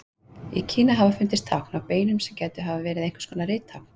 Í Kína hafa fundist tákn á beinum sem gætu verið einhvers konar rittákn.